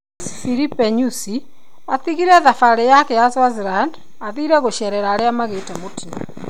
Rais Filipe Nyusi atigire thabarĩ yake ya Swaziland athire gũcerera arĩa magĩte mutino